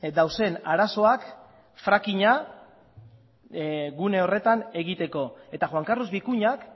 dauden arazoak frackinga gune horretan egiteko eta juan carlos vicuñak